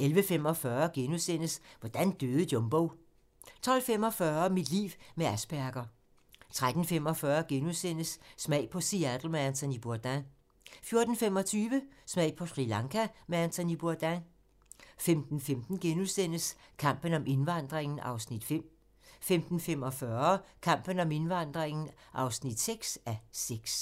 11:45: Hvordan døde Jumbo? * 12:45: Mit liv med Asperger 13:45: Smag på Seattle med Anthony Bourdain * 14:25: Smag på Sri Lanka med Anthony Bourdain 15:15: Kampen om indvandringen (5:6)* 15:45: Kampen om indvandringen (6:6)